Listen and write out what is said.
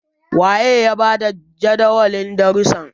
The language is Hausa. waye ya ba da Jadawalin darrusan?